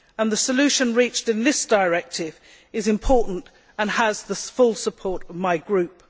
The solution reached in this directive is important and has the full support of my group.